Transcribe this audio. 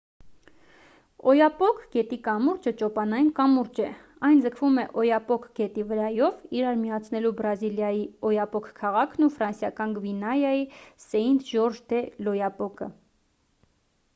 օյապոկ գետի կամուրջը ճոպանային կամուրջ է այն ձգվում է օյապոկ գետի վրայով իրար միացնելու բրազիլիայի օյապոկ քաղաքն ու ֆրանսիական գվիանայի սեինթ-ժորժ դե լ'օյապոկը